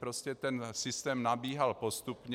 Prostě ten systém nabíhal postupně.